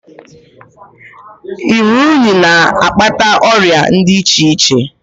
Iru unyi na-akpata ọrịa di iche iche.